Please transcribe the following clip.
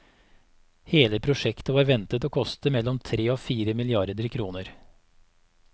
Hele prosjektet var ventet å koste mellom tre og fire milliarder kroner.